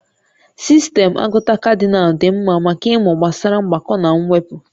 Sistemụ agụta Kadịnal dị mma maka ịmụ gbasara mgbakọ na mwepụ